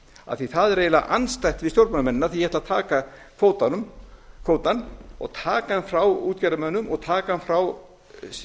af því að það er eiginlega andstætt við stjórnmálamennina því ég ætla að taka kvótann og taka hann frá útgerðarmönnum og taka hann frá stjórnmálamönnunum